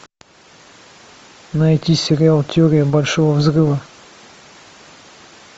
найти сериал теория большого взрыва